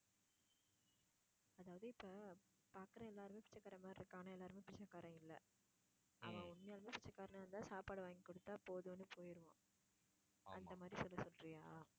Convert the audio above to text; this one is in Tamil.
அதாவது இப்ப பாக்குற எல்லாருமே பிச்சைக்காரன் மாதிரி எல்லாருமே பிச்சைக்காரன் இல்ல அவன் உண்மையாலுமே பிச்சைக்காரனா இருந்தா சாப்பாடு வாங்கி குடுத்தா போதும்னு போயிருவான் அந்த மாதிரி சொல்ல சொல்றியா